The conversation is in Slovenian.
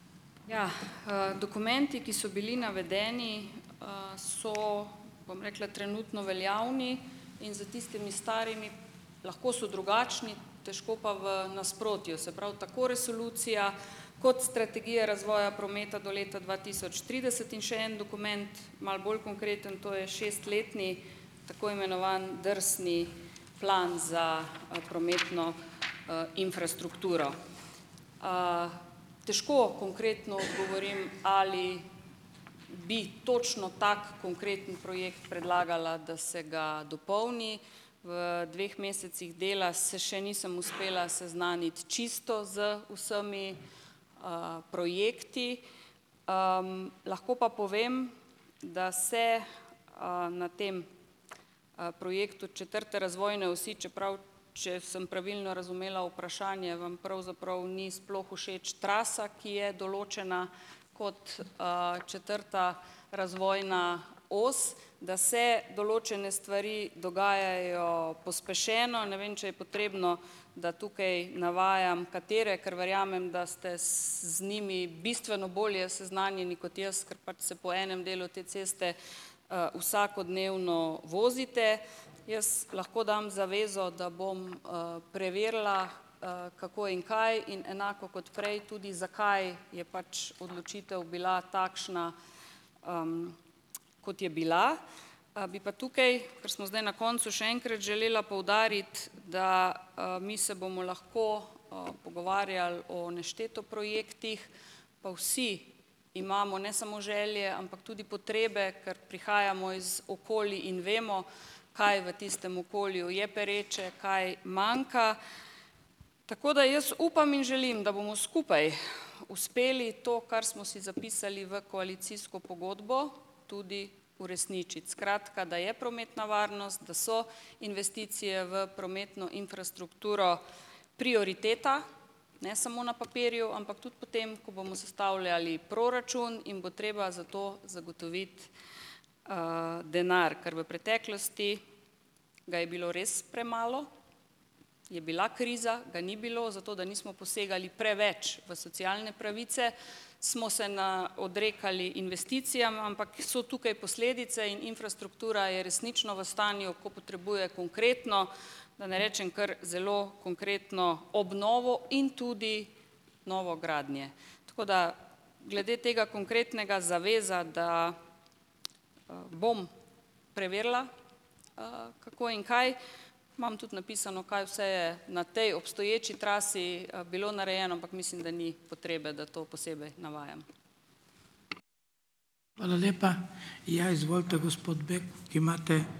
Jah. Dokumenti, ki so bili navedeni, so, bom rekla, trenutno veljavni in za tistimi starimi, lahko so drugačni, težko pa v nasprotju. Se pravi tako resolucija kot strategije razvoja prometa do leta dva tisoč trideset in še en dokument, malo bolj konkreten, to je šest letni tako imenovani drsni plan za prometno infrastrukturo. Težko konkretno odgovorim, ali bi točno tak konkreten projekt predlagala, da se ga dopolni. V dveh mesecih dela se še nisem uspela seznaniti čisto z vsemi projekti, lahko pa povem, da se na tem projektu četrte razvoje osi, čeprav če sem pravilno razumela vprašanje, vam pravzaprav ni sploh všeč trasa, ki je določena kot četrta razvojna os, da se določene stvari dogajajo pospešeno. Ne vem, če je potrebno, da tukaj navajam, katere, ker verjamem, da ste z njimi bistveno bolje seznanjeni kot jaz, ker pač se po enem delu te ceste vsakodnevno vozite. Jaz lahko dam zavezo, da bom preverila, kako in kaj in enako kot prej tudi zakaj je pač odločitev bila takšna, kot je bila. Bi pa tukaj, ker smo zdaj na koncu, še enkrat želela poudariti, da mi se bomo lahko pogovarjali o nešteto projektih, pa vsi imamo ne samo želje, ampak tudi potrebe, ker prihajamo iz okolij in vemo, kaj v tistem okolju je pereče, kaj manjka, tako da jaz upam in želim, da bomo skupaj uspeli to, kar smo si zapisali v koalicijsko pogodbo, tudi uresničiti. Skratka, da je prometna varnost, da so investicije v prometno infrastrukturo prioriteta, ne samo na papirju, ampak tudi potem, ko bomo sestavljali proračun in bo treba za to zagotoviti denar, ker v preteklosti ga je bilo res premalo, je bila kriza, ga ni bilo. Zato da nismo posegali preveč v socialne pravice, smo se na odrekali investicijam, ampak so tukaj posledice in infrastruktura je resnično v stanju, ko potrebuje konkretno, da ne rečem kar zelo konkretno obnovo in tudi novogradnje. Tako da glede tega konkretnega - zaveza, da bom preverila, kako in kaj. Imam tudi napisano, kaj vse je na tej obstoječi trasi bilo narejeno, ampak mislim, da ni potrebe, da to posebej navajam.